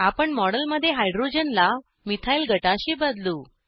आपण मॉडेलमध्ये हायड्रोजनला मिथाईल गटाशी बदलू